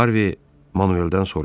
Harvey Manueldən soruşdu.